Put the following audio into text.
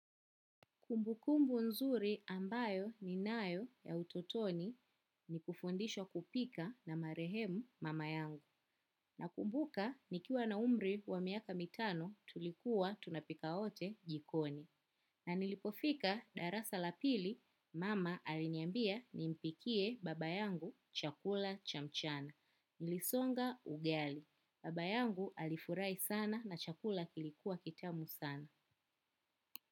Kumbukumbu nzuri ambayo ninayo ya utotoni ni kufundishwa kupika na marehemu mama yangu. Nakumbuka nikiwa na umri wa miaka mitano tulikuwa tunapika wote jikoni. Na nilipofika darasa la pili, mama aliniambia nimpikie baba yangu chakula cha mchana. Nilisonga ugali. Baba yangu alifurahi sana na chakula kilikuwa kitamu sana.